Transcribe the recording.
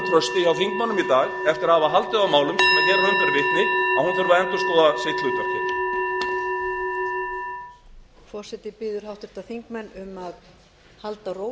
að hafa haldið á málum sem raun ber vitni að hún þurfi að endurskoða sitt hlutverk hér